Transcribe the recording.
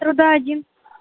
труда один